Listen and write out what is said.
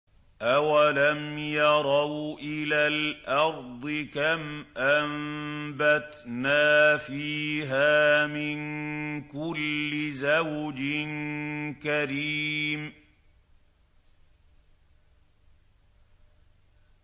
أَوَلَمْ يَرَوْا إِلَى الْأَرْضِ كَمْ أَنبَتْنَا فِيهَا مِن كُلِّ زَوْجٍ كَرِيمٍ